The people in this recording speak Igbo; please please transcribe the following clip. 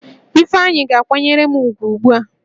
Ifeanyi ga-kwanyere m ugwu ugbu a!